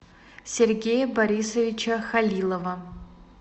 сергея борисовича халилова